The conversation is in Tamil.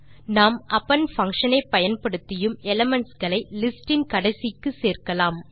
நாம் அப்பெண்ட் பங்ஷன் ஐ பயன்படுத்தியும் எலிமென்ட்ஸ் களை லிஸ்ட் இன் கடைசிக்கு சேர்க்கலாம்